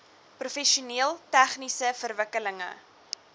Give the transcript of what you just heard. professioneel tegniese verwikkelinge